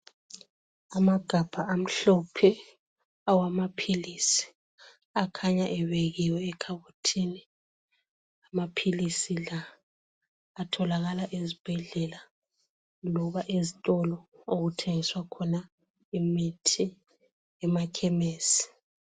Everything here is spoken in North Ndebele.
Amagabha amhlophe awamaphilisi akhanya ebekiwe ekhabothini, amaphilisi la atholakala ezibhedlela loba ezitolo okuthengiswa khona imithi emakhemesi.